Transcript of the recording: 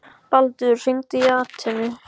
Baldur, hringdu í Atenu.